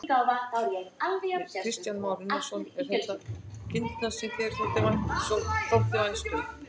Kristján Már Unnarsson: Eru þetta kindurnar sem þér þótti vænst um?